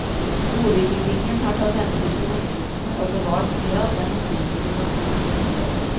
Boligbyggingen har tatt hensyn til omgivelsene og bevart mye av den opprinnelige naturen i området.